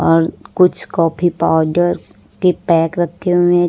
और कुछ coffee powder के पैक रखे हुए--